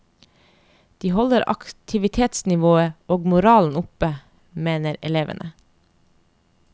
De holder aktivitetsnivået og moralen oppe, mener elevene.